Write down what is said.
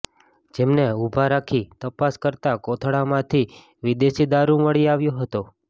જેમને ઉભા રાખી તપાસ કરતા કોથળામાંથી વિદેશી દારૃ મળી આવ્યો હતો